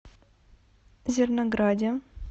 зернограде